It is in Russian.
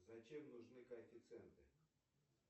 зачем нужны коэффициенты